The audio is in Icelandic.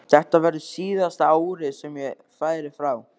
Þetta verður síðasta árið sem ég færi frá.